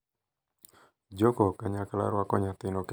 Jogo kanyakla rwako nyathino kendo miyogi gueth.